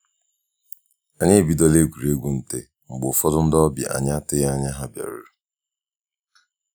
Anyi ebidola egwuruegwu nte mgbe ụfọdụ ndị ọbịa anyị atụghị anya ha bịaruru